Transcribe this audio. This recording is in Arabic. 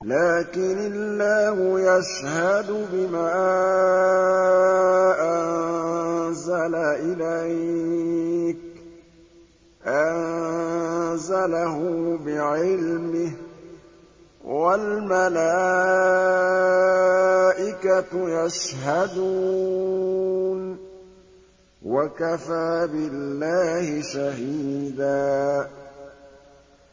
لَّٰكِنِ اللَّهُ يَشْهَدُ بِمَا أَنزَلَ إِلَيْكَ ۖ أَنزَلَهُ بِعِلْمِهِ ۖ وَالْمَلَائِكَةُ يَشْهَدُونَ ۚ وَكَفَىٰ بِاللَّهِ شَهِيدًا